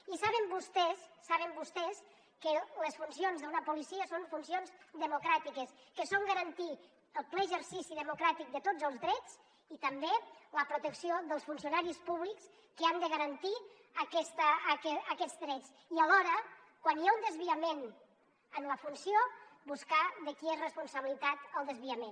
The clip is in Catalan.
i saben vostès saben vostès que les funcions d’una policia són funcions democràtiques que són garantir el ple exercici democràtic de tots els drets i també la protecció dels funcionaris públics que han de garantir aquests drets i alhora quan hi ha un desviament de la funció buscar de qui és responsabilitat el desviament